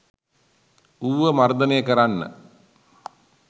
ඌව මර්ධනය කරන්න